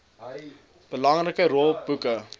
belangrike rol boeke